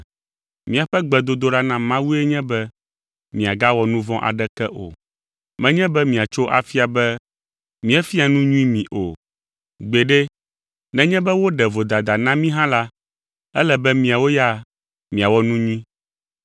Míaƒe gbedodoɖa na Mawue nye be miagawɔ nu vɔ̃ aɖeke o. Menye be miatso afia be míefia nu nyui mi o. Gbeɖe, nenye be woɖe vodada na mí hã la, ele be miawo ya miawɔ nu nyui.